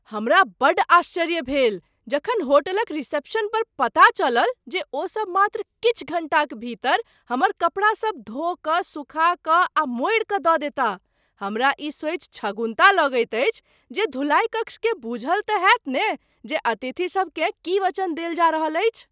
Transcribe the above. हमरा बड्ड आश्चर्य भेल जखन होटलक रिसेप्शनपर पता चलल जे ओ सब मात्र किछु घण्टाक भीतर हमर कपड़ासभ धो कऽ, सुखा कऽ आ मोड़ि कऽ दऽ देता। हमरा ई सोचि छगुन्ता लगैत अछि जे धुलाइ कक्षकेँ बूझल तँ होयत ने जे अतिथिसभ केँ की वचन देल जा रहल अछि।